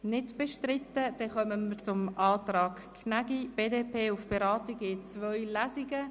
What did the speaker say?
Wir kommen zum Antrag Gnägi, BDP, auf Beratung in zwei Lesungen.